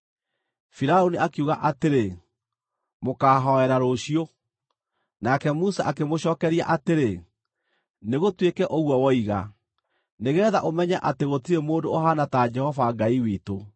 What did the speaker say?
Firaũni akiuga atĩrĩ, “Mũkaahooera rũciũ.” Nake Musa akĩmũcookeria atĩrĩ, “Nĩgũtuĩke ũguo woiga, nĩgeetha ũmenye atĩ gũtirĩ mũndũ ũhaana ta Jehova Ngai witũ.